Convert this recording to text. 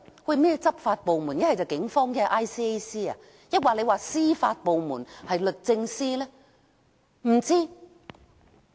甚麼執法部門？不是警方便是 ICAC， 抑或是司法部門，是律政司嗎？